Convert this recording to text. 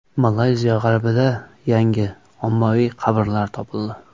Malayziya g‘arbida yangi ommaviy qabrlar topildi.